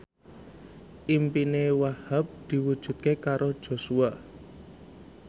impine Wahhab diwujudke karo Joshua